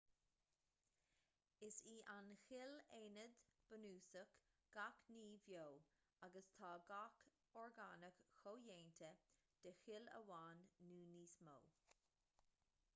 is í an chill aonad bunúsach gach ní bheo agus tá gach orgánach comhdhéanta de chill amháin nó níos mó